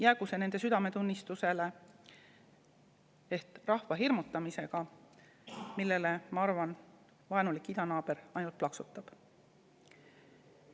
Jäägu nende südametunnistusele see rahva hirmutamine, millele, ma arvan, vaenulik idanaaber ainult plaksutab.